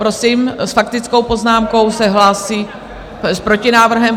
Prosím, s faktickou poznámkou se hlásí... s protinávrhem.